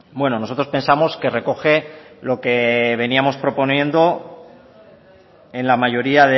bueno nosotros pensamos que recoge lo que veníamos proponiendo en la mayoría